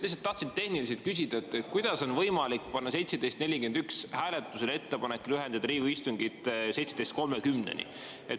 Lihtsalt tahtsin tehniliselt küsida, kuidas on võimalik panna 17.41 hääletusele ettepanek lühendada Riigikogu istungit kella 17.30-ni.